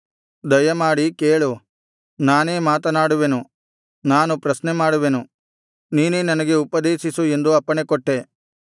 ದಯಮಾಡಿ ಕೇಳು ನಾನೇ ಮಾತನಾಡುವೆನು ನಾನು ಪ್ರಶ್ನೆಮಾಡುವೆನು ನೀನೇ ನನಗೆ ಉಪದೇಶಿಸು ಎಂದು ಅಪ್ಪಣೆಕೊಟ್ಟೆ